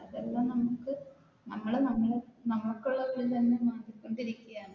ഇതെല്ലം നമുക്ക് നമ്മൾ നമുക്കുള്ളത് തന്നെ നശിപ്പിച്ചു കൊണ്ടിരിക്കുകയാണ്